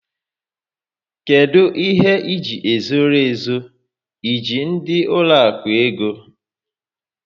Kedụ ihe iji e zoro ezo? E ji ndị ụlọaku ego?